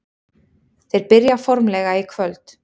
Þeir byrja formlega í kvöld.